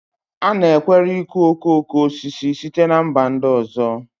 A nakweere ịkụ okoko osisi site na mba ndị ọzọ